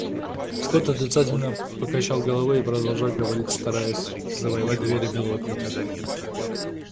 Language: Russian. скотт отрицательно покачал головой и продолжал говорить стараясь завоевать доверие белого клыка